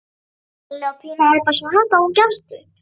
Palli og Pína æpa svo hátt að hún gefst upp.